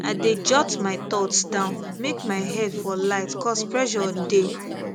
i dey jot my thoughts down make my head for light cause pressure dey